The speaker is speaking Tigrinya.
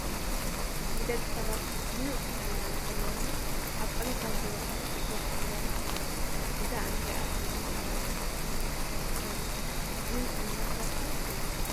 ንደቂ ሰባት ሙእ ጥዕና ንክህለወና ኣብ ዕለታዊ ሂወትና ስፖርት ክንሰርሕ ኣለና ። እዛ እንሪኣ ዘለና ጓል ኣነስተይቲ ኮይና ጅም እንዳሰረሐት እያ።